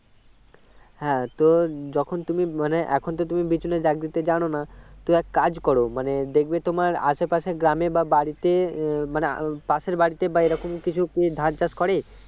হ্যাঁ তো যখন তুমি মানে এখন তো তুমি বিচুনে জাগ জানো না তো এক কাজ করো মানে দেখবে তোমার আশে পাশের গ্রামে বা বাড়িতে মানে পাশের বাড়িতে বা এরকম কিছু কি ধান চাষ করে